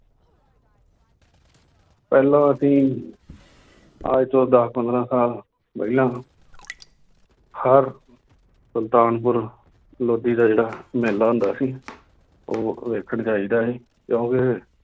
ਪਹਿਲਾਂ ਅਸੀਂ ਅੱਜ ਤੋਂ ਦਸ ਪੰਦਰਾਂ ਸਾਲ ਪਹਿਲਾਂ ਹਰ ਸੁਲਤਾਨਪੁਰ ਲੋਧੀ ਦਾ ਜਿਹੜਾ ਮੇਲਾ ਹੁੰਦਾ ਸੀ ਉਹ ਵੇਖਣ ਜਾਈਦਾ ਸੀ ਕਿਉਂਕਿ